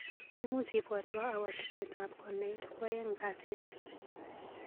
Imuch ibwatwa awo tuketab konait kwaeng kasit.